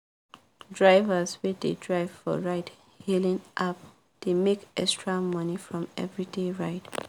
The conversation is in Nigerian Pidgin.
drivers wey dey drive for ride hailing app dey make extra money from everyday ride